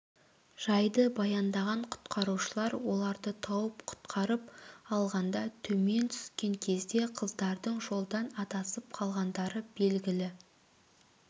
жайды баяндаған құтқарушылар оларды тауып құтқарып алғанда төмен түсікен кезде қыздардың жолдан адасып қалғандары белгілі